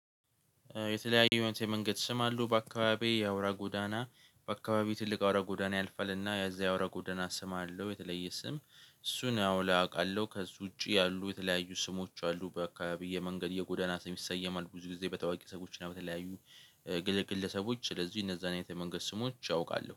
የተለያዩ የመንገድ ስም አሉ በአካባቢየ የአውራ ጎዳና። በአካባቢው ትልቅ አውራ ጎዳና ያልፈልና የዛ አውራ ጎዳና ስም አለው የተለየ ስም። እሱን ያው አውቃለሁ ከእሱ ውጪ ያሉ የተለያዩ ስሞች አሉ። በአካባቢዬ መንገድ የጎዳና ሰም ይሰየማል ብዙ ጊዜ በታዋቂ ሰዎች ነው። በተለያዩ ግለሰቦች ስለዚህ እነዛን የመንገድ ስሞች ያውቃሉ